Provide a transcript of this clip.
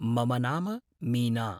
मम नाम मीना।